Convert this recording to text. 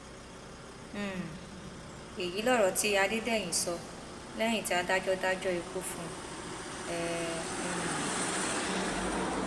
um èyí lọrọ tí adédèyìn sọ lẹyìn tí adájọ dájọ ikú fún um un